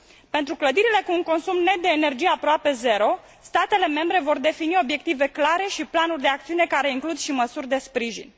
Pentru clădirile cu un consum net de energie aproape zero, statele membre vor defini obiective clare și planuri de acțiune care includ și măsuri de sprijin.